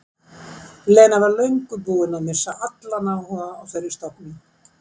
Lena var löngu búin að missa allan áhuga á þeirri stofnun.